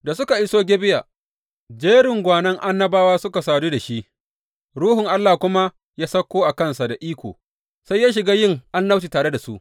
Da suka iso Gibeya, jerin gwanon annabawa suka sadu da shi Ruhun Allah kuma ya sauko a kansa da iko, sai ya shiga yin annabci tare da su.